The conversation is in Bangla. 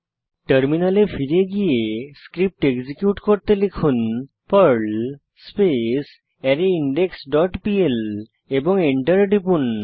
টার্মিনালে ফিরে গিয়ে ক্রিপ্ট এক্সিকিউট করতে লিখুন Perl space array index dot pl এবং এন্টার টিপুন